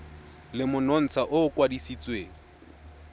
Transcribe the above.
le monontsha o o kwadisitsweng